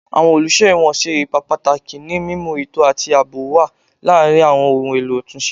Awọn oluso ẹwọn ṣe ipa pataki ni mimu eto ati aabo wa laarin awọn ohun elo atunṣe